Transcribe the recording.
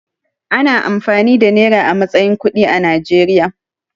Ana amfani da nera a matsayin kuɗi a Najeriya.